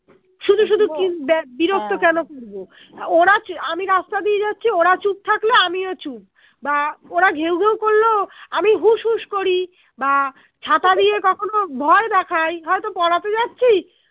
শুধু কিন ব্যা কেন করবো ওরা চ আমি রাস্তা দিয়ে যাচ্ছি ওরা চুপ থাকলো আমিও চুপ বা ওরা ঘেউ ঘেউ করলো আমি হুস হুস করি বা কখনো ভয় দেখাই হয়তো পড়াতে যাচ্ছি